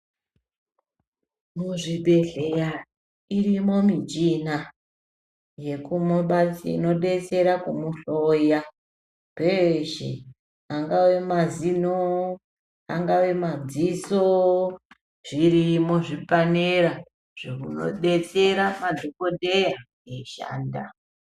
Muzvibhedhleya irimo michina inodetsera kumuhloya peshe angave mazino angave madziso zvirimo zvipanera zvinodetsera madhokodheya eishanda.